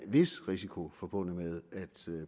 vis risiko forbundet med at